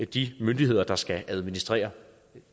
de myndigheder der skal administrere